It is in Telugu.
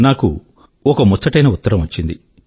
నాకొక ముచ్చటైన ఉత్తరం వచ్చింది